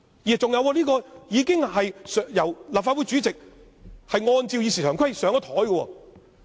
再者，這項議案已經由立法會主席按照《議事規則》放入議程。